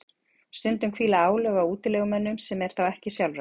stundum hvíla álög á útilegumönnunum sem er þá ekki sjálfrátt